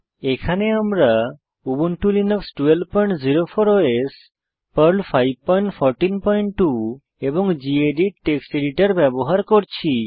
এখানে আমরা Ubuntu Linux 1204 OS Perl 5142 এবং গেদিত টেক্সট এডিটর ব্যবহার করছি